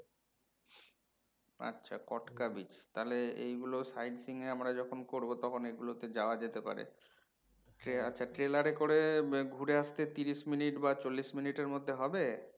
আচ্ছা কটকা beach তাহলে এইগুলো sight seeing এ আমরা যখন করবো তখন এগুলো তে যাওয়া যেতে পারে ট্রে আচ্ছা trailer এ করে ঘুরে আসতে তিরিশ minute বা চল্লিশ minute এ হবে?